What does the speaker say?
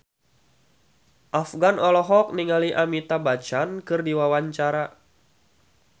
Afgan olohok ningali Amitabh Bachchan keur diwawancara